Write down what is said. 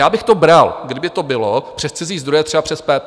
Já bych to bral, kdyby to bylo přes cizí zdroje, třeba přes PPP.